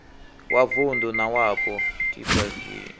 wa vunḓu na wapo dplg